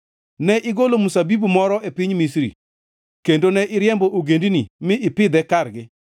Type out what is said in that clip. Ne igolo mzabibu moro e piny Misri, kendo ne iriembo ogendini mi ipidhe kargi.